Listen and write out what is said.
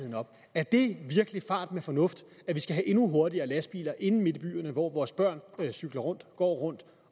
er det virkelig fart med fornuft at vi skal have endnu hurtigere lastbiler inde midt i byerne hvor vores børn cykler rundt og går rundt